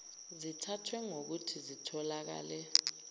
zithathwe ngokuthi zitholakale